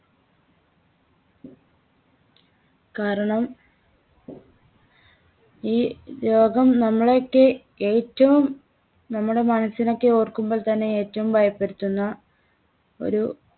കാരണം ഈ രോഗം നമ്മളെയൊക്കെ ഏറ്റവും നമ്മുടെ മനസ്സിനെയൊക്കെ ഓർക്കുമ്പോൾത്തന്നെ ഏറ്റവും ഭയപ്പെടുത്തുന്ന ഒരു